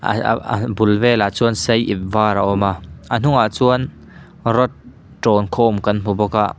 a bul velah chuan sai ip var a awm a a hnungah chuan rot tawng khawm kan hmu bawk a.